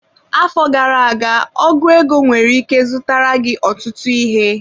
Afọ gara aga ọgu ego nwere ike zụtara gị ọtụtụ ihe.